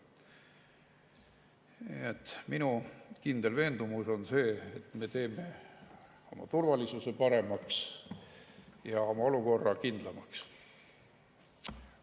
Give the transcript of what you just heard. Nii et minu kindel veendumus on see, et me teeme oma turvalisuse paremaks ja oma olukorra kindlamaks.